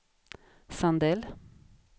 Sandell